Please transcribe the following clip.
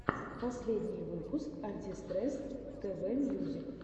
последний выпуск антистресс тв мьюзик